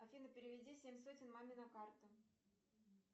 афина переведи семь сотен маме на карту